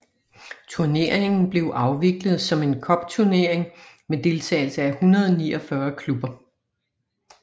Turneringen blev afviklet som en cupturnering med deltagelse af 149 klubber